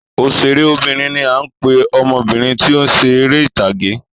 Òṣèré obìnrin ni a ń pe ọmọbìrin tí o ń ṣe eré ìtàgé